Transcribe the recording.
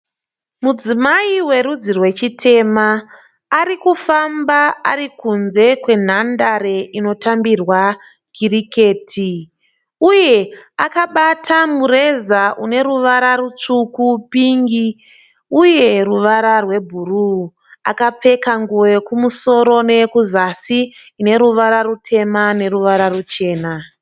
Mudzimai werudzi rwechitema arikufamba arikunze kwenhandare inotambirwa kiriketi uye akabata mureza une ruvara rutsvuku , pingi uye ruvara rwebhuruu. Akapfeka nguwo yekumusoro neyekuzasi ine ruvara rutema neruvara ruchena